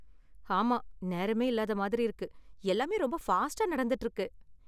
ஆமா, நேரமே இல்லாத மாதிரி இருக்கு, எல்லாமே ரொம்ப ஃபாஸ்டா நடந்துட்டு இருக்கு.